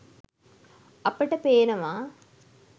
අපට පේනවා